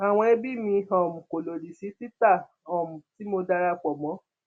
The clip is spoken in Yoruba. àwọn ẹbí mi um kò lódì sí títà um tí mo darapò mọ